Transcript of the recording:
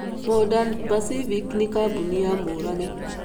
Modern Pacific nĩ kambuni ya Murage.